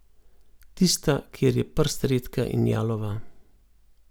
Tista, kjer je prst redka in jalova.